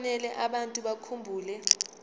kufanele abantu bakhumbule